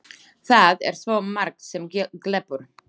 Það er svo margt sem glepur.